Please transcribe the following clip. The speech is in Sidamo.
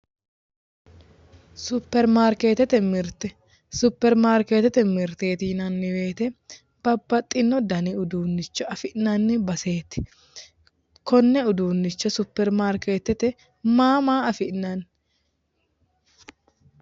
Superimarkeettete mirte superimarkeettete mirteei yinanni woyiite babbaxxino dani uduunnicho afi'nanni baseeti konne uduunnichi superimarkeettete maa maa afi'nanni?